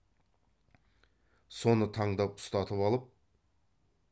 соны таңдап ұстатып алып